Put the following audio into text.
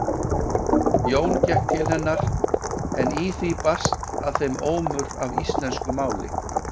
Jón gekk til hennar en í því barst að þeim ómur af íslensku máli.